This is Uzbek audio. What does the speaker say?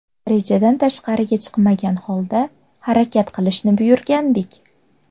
Rejadan tashqariga chiqmagan holda harakat qilishni buyurgandik.